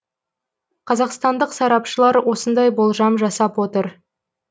қазақстандық сарапшылар осындай болжам жасап отыр